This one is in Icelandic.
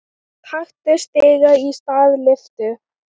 Taktu stiga í stað lyftu.